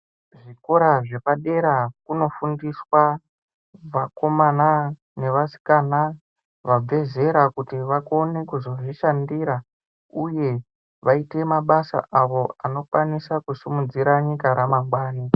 Zvikora zvepadera kuno fundiswa vakomana ne vasikana vabve zera kuti vakone kuzozvi shandira uye vaite mabasa avo anokwanisa ku sumudzira nyika ra mangwani.